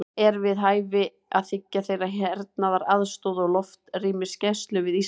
Er við hæfi að þiggja þeirra hernaðaraðstoð og loftrýmisgæslu við Ísland?